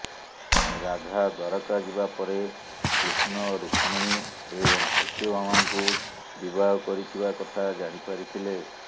ରାଧା ଦ୍ବାରକା ଯିବା ପରେ କୃଷ୍ଣ ରୁକ୍ମଣୀ ଏବଂ ସତ୍ୟଭାମାଙ୍କୁ ବିବାହ କରିଥିବା କଥା ଜାଣିପାରିଥିଲେ